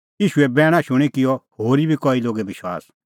ईशूए बैणा शूणीं किअ होरी बी कई लोगै विश्वास